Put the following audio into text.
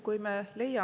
Kui me leiame …